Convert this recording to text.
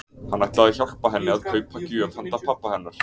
Hann ætlaði að hjálpa henni að kaupa gjöf handa pabba hennar.